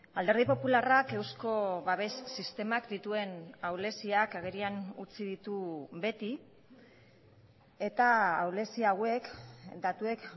alderdi popularrak eusko babes sistemak dituen ahuleziak agerian utzi ditu beti eta ahulezia hauek datuek